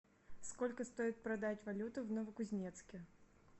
сколько стоит продать валюту в новокузнецке